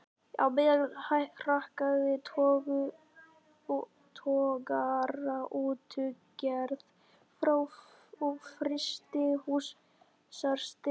Á meðan hrakaði togaraútgerð og frystihúsarekstri.